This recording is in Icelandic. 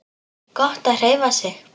Gott að hreyfa sig.